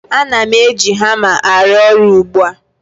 Ana m eji hama arụ ọrụ ugbu a